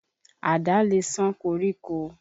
Àdá lè ṣán koríko.